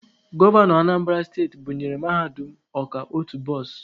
Gọvanọ Anambara steti bunyere Mahadum Ọka otu bọs.